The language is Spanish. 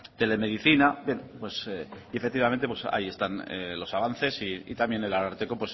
la telemedicina y efectivamente pues ahí están los avances y también el ararteko